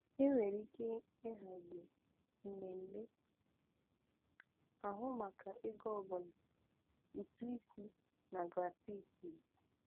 Enwere ike ịhazi mmemme ahụ maka ego ọ bụla, ụtụ isi, na gratuities.